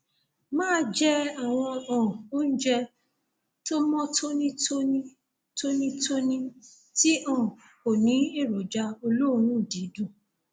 máa jẹ àwọn um oúnjẹ tó mọ tónítóní tónítóní tí um kò ní èròjà olóòórùn dídùn